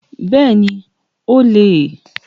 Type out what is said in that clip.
Bẹ́ẹ̀ni, o le è